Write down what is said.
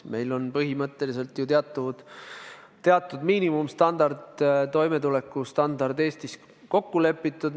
Meil on põhimõtteliselt ju teatud minimaalne toimetulekustandard Eestis kokku lepitud.